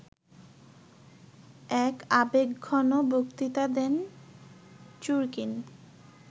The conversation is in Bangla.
এক আবেগঘন বক্তৃতা দেন চুরকিন